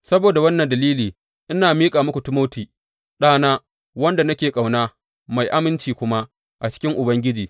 Saboda wannan dalili ina aika muku Timoti, ɗana, wanda nake ƙauna, mai aminci kuma a cikin Ubangiji.